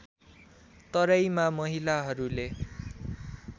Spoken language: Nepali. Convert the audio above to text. तराईमा महिलाहरूले